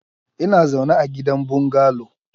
Ina zaune a gidan bungalow.